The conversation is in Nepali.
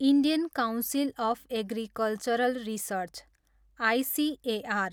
Indian council of agricultural research, ICAR